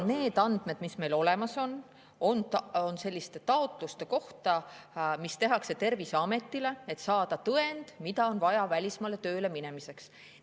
Need andmed, mis meil olemas on, on selliste taotluste kohta, mis tehakse Terviseametile, et saada tõend, mida on vaja välismaale tööle minemiseks.